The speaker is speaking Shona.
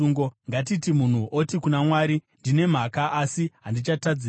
“Ngatiti munhu oti kuna Mwari, ‘Ndine mhaka asi handichatadzazve.